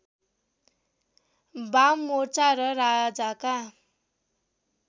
बाममोर्चा र राजाका